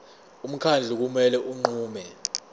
umkhandlu kumele unqume